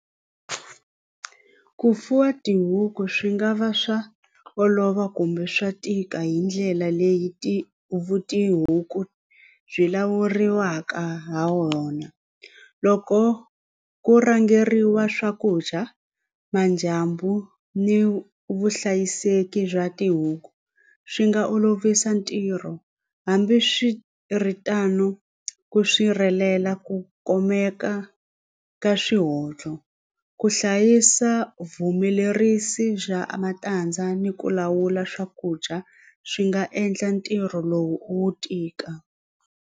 Ku fuwa tihuku swi nga va swa olova kumbe swa tika hi ndlela leyi ti vu tihuku byi lawuriwaka ha wona loko ku rhangeriwa swakudya madyambu ni vuhlayiseki bya tihuku swi nga olovisa ntirho hambiswiritano ku sirhelela ku kumeka ka swihoxo ku hlayisa vuhumelerisi bya matandza ni ku lawula swakudya swi nga endla ntirho lowu wu tika.